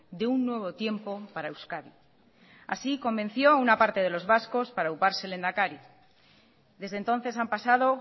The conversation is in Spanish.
de un nuevo tiempo para euskadi así convenció a una parte de los vascos para auparse lehendakari desde entonces han pasado